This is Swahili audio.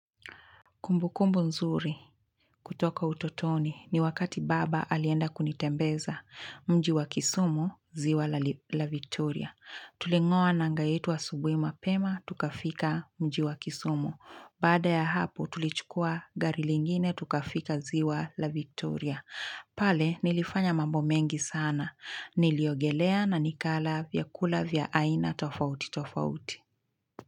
Kumbu kumbu nzuri kutoka utotoni ni wakati baba alienda kunitembeza mji wa kisumu ziwa la victoria. Tulingoa nanga yetu wa subuhi mapema tukafika mji wa kisumu. Baada ya hapo tulichukua gari lingine tukafika ziwa la victoria. Pale nilifanya mambo mengi sana. Niliogelea na nikala vya kula vya aina tofauti tofauti.